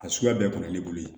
A suguya bɛɛ tun ye leburi ye